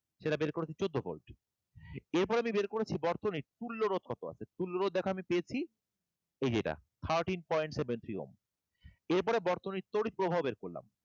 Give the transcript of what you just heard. সেটা বের করেছি চোদ্দো ভোল্ট এরপর আমি বের করেছি বর্তনীর তুল্যরোধ কত আছে তুল্যরোধ দেখ আমি পেয়েছি এই যে এটা thirteen point seven three ohm এরপরে বর্তনীর তড়িৎ প্রবাহ বের করলাম